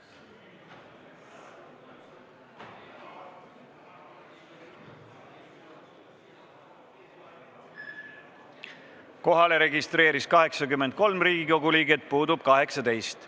Kohaloleku kontroll Kohalolijaks registreerus 83 Riigikogu liiget, puudub 18.